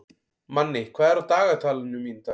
Manni, hvað er á dagatalinu mínu í dag?